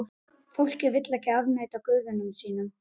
Fólkið vill ekki afneita guðum sínum.